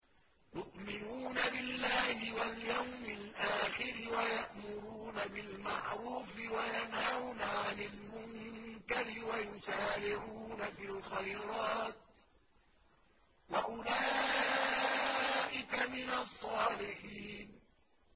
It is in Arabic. يُؤْمِنُونَ بِاللَّهِ وَالْيَوْمِ الْآخِرِ وَيَأْمُرُونَ بِالْمَعْرُوفِ وَيَنْهَوْنَ عَنِ الْمُنكَرِ وَيُسَارِعُونَ فِي الْخَيْرَاتِ وَأُولَٰئِكَ مِنَ الصَّالِحِينَ